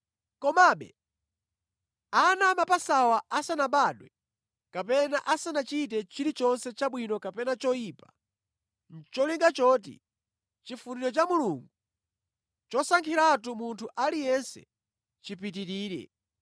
Komabe, ana amapasawa asanabadwe kapena asanachite chilichonse chabwino kapena choyipa, nʼcholinga choti chifuniro cha Mulungu chosankhiratu munthu aliyense chipitirire,